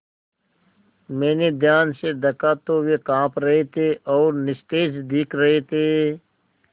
मैंने ध्यान से दखा तो वे काँप रहे थे और निस्तेज दिख रहे थे